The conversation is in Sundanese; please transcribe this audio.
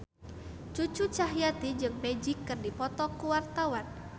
Cucu Cahyati jeung Magic keur dipoto ku wartawan